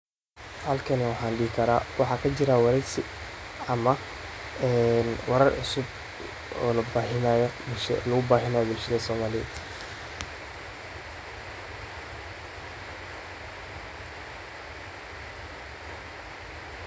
Idaacaddu waa xarun muhiim ah oo lagu gudbiyo wararka, madadaalada, barnaamijyada waxbarashada, iyo wacyigelinta bulshada, iyadoo si joogto ah hawada ugu sii daynaysa codad kala duwan oo ay ka mid yihiin wararka gudaha iyo dibadda, heesaha dhaqanka iyo kuwa casriga ah, doodaha dadweynaha.